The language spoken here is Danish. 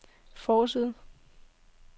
forside